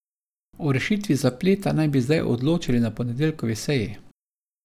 O rešitvi zapleta naj bi zdaj odločali na ponedeljkovi seji.